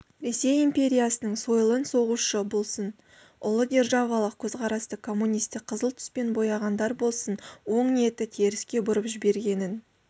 ресей империясының сойылын соғушы болсын ұлы державалық көзқарасты коммунистік қызыл түспен бояғандар болсын оң ниетті теріске бұрып жібергенін